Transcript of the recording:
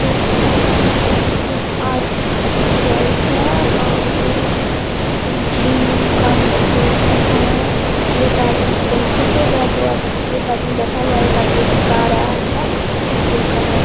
बहुत सारा मतलब आ जेंट्स है और जिम का मशीन सब है। एक आदमी सेल्फी ले रहा है दो आदमी एक आदमी बैठा हुआ है एक आदमी बता रहा है। जिम का म --